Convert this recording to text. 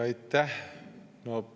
Aitäh!